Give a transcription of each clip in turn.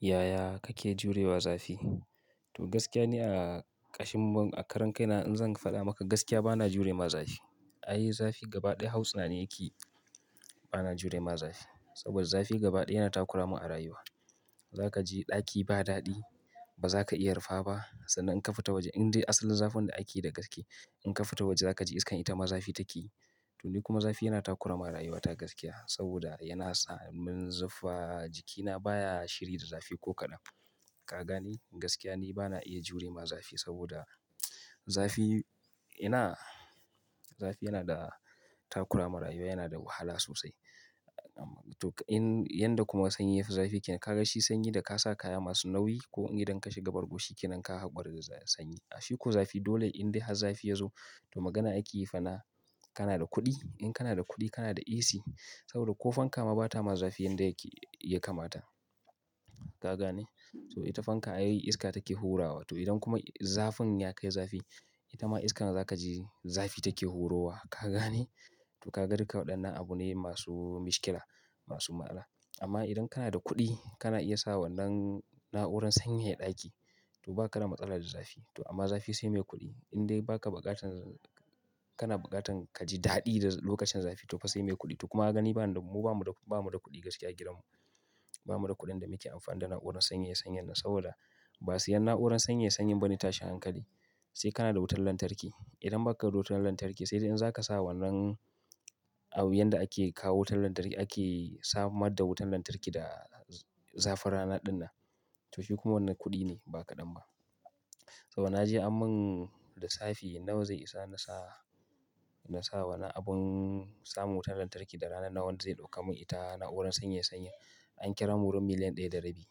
Yaya kake jurewa zafi? To gaskiya ne a ƙashin a karan kai na in zan faɗa maka gaskiya bana jurewa zafi. Ai ni zafi gaba ɗaya hausa ni yake yi bana jurema zafi. Saboda zafi gaba ɗaya yana takuramin a rayuwa. Zaka ji daki ba dadi, baza ka iya rufa ba, san nan in ka fita woje indai asalin zafin da akeyi da gaske in ka fita woje zaka ji iskan itama zafi takeyi. To nikuma zafi yana takura min a rayuwa ta gaskiya, saboda yana sa min zufa jikina baya shiri da zafi ko kadan. To ni kuma zafi yana takurama rayuwa ta gaskiya saboda yana sa mun zufa jikina baya shiri da zafi ko kaɗan. Duk in, yanda kuma sanyi yafi zafi ke nan ka ga shi sanyi da ka sa kaya masu nauyi ko idan ka shiga bargoshi ke nan ka hakura da sanyi. Shiko zafi dole in dai har zafi ya zo to magana ake yi fa na kana da kuɗi. To in, yanda kuma sanyi yafi zafi ke nan ka ga shi sanyi da ka sa kaya masu nauyi ko idan ka shiga bargoshi ke nan ka haɓar da sanyi. A shiko zafi dole in dai har zafi ya zo to magana ake yi fa na kana da kuɗi. In kana da kuɗi kana da AC saboda ko fanka ma bata ma zafi yanda yake ya kamata. Ka gane? To ita fanka ai iska take hurawa to idan kuma zafin ya kai zafi ita ma iskan za ka ji zafi take hurowa. Ka gane? To ka ga duka waɗannan abu ne masu mushkila masu ma'ana. Amma idan kana da kuɗi kana iya sa wannan na'urar sanyaya ɗaki to ba ka da matsala da zafi. To amma zafi sai mai kuɗi. In dai ba ka buƙatan, kana buƙatan ka ji daɗi lokacin zafi to fa sai mai kuɗi. To kuma ka gani, mu bamuda, bamuda kuɗi gaskiya a gidanmu. Sai kana da wutar lantarki. Idan ba ka da wutar lantarki sai dai in za ka sa wannan abun yanda ake kawo wutar lantarki ake samar da wutar lantarki da zafin rana ɗin nan to shi kuma wannan kuɗi ne ba kaɗan ba. Saboda na je an mun lissafi nawa zai isa na sa, na sa wannan abun samun wutar lantarki da rana nawa zai ɗauka mun ita na'urar sanyaya sanyi an kira mun wurin miliyan ɗaya da rabi.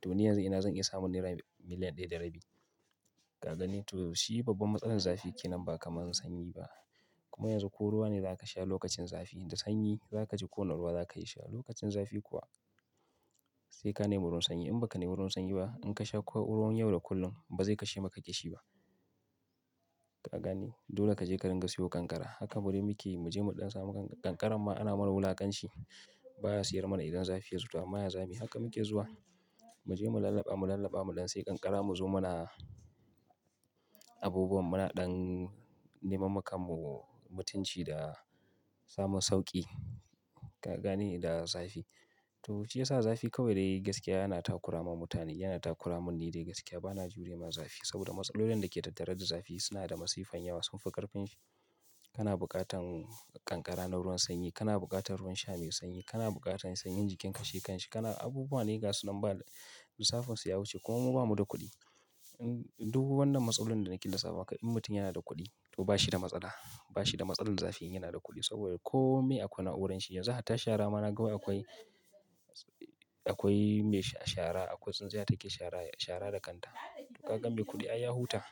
To ni yanzu ina zan iya samun naira miliyan ɗaya da rabi? Ka gane? To shi babban matsalar zafi ke nan ba kamar na sanyi ba. Kuma yanzu ko ruwa ne za ka sha lokacin zafi da sanyi za ka ji ko na ruwa za ka yi sha. Lokacin zafi kuwa sai ka nemi wurin sanyi in ba ka nemi wurin sanyi ba in ka sha ko ruwan yau da kullum ba zai kashe maka ƙishi ba. Ka gani? Dole ka je karen gasiyo kankara. Haka bari muke mu je mu ɗan samu kankara ma ana mana wulakanci. Ba a siyar mana idan zafi ya zuba amma yanzu haka muke zuwa mu je mu lallaba, mu lallaba mu ɗan sai kankara mu zo muna abubuwan muna ɗan neman makamun mutunci da samun sauƙi. Ka gane? Da zafi. To shi ya sa zafi kawai dai gaskiya yana takurama mutane. Yana takuramin ni dai gaskiya bana jurewa zafi saboda matsalolin da ke tattare da zafi suna da masifan yawa sunfi ƙarfin shi. Kana buƙatan kankara na ruwan sanyi, kana buƙatan ruwan sha mai sanyi, kana buƙatan sanyin jikin kashe kanshi, kana abubuwa na gaskiya suna ba da lissafin su ya wuce kuma mu bamuda kuɗi. Duk wannan matsalolin da nake lissafa in mutum yana da kuɗi to ba shi da matsala. Ba shi da matsalar zafi in yana da kuɗi saboda kome akwai na'urar shi yanzu hatta shara ma na ga akwai, akwai mai shara akwai tsintsiya take shara, shara da kanta. Ka ga me kuɗi ai ya huta.